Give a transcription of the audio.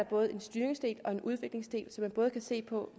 både en styringsdel og en udviklingsdel så man både kan se på